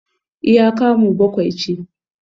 iya kamu bakwai ce